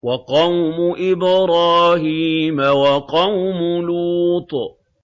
وَقَوْمُ إِبْرَاهِيمَ وَقَوْمُ لُوطٍ